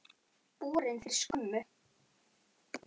Borin fyrir skömmu.